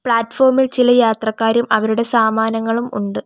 Platform ഇൽ ചില യാത്രക്കാരും അവരുടെ സാമാനങ്ങളും ഉണ്ട്.